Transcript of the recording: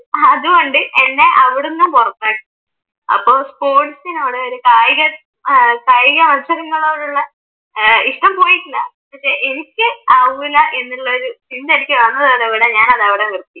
അതുകൊണ്ട് എന്നെ അവിടുന്നും പുറത്താക്കി അപ്പൊ സ്പോർട്സിനോട്, ഒരു കായിക മത്സരത്തോടുള്ള ഏർ ഇഷ്ട്ടം പോയിട്ടില്ല പക്ഷെ എനിക്ക് ആവൂല എന്നുള്ള ഒരു ചിന്ത എനിക്ക് വന്നതോടുകൂടി ഞാൻ അതവിടെ നിർത്തി